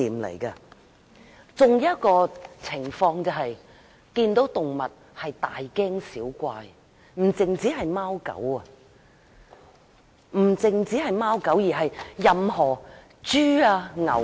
還有一個情況就是，看到動物便大驚小怪，不單是貓狗，任何豬牛也如此。